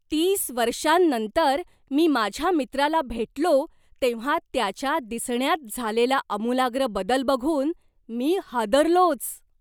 तीस वर्षांनंतर मी माझ्या मित्राला भेटलो तेव्हा त्याच्या दिसण्यात झालेला आमुलाग्र बदल बघून मी हादरलोच!